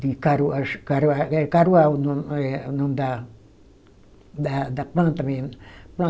De caruá, acho caruá é caruá o nome, eh o nome da da da planta mesmo.